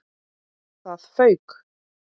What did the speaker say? ÞAÐ FAUK!